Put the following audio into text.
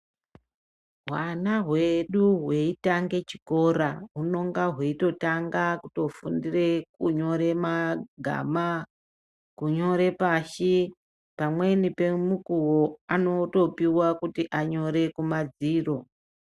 Hwana hwedu hweitange chikora hunenge hweitotanga kufundira kunyora magama. Kunyora pashi, pamweni pemukuwo anotonopiwa kuti anyore kumadziro.